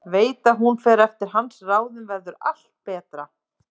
Veit að ef hún fer eftir hans ráðum verður allt betra.